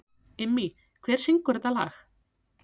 Immý, hver syngur þetta lag?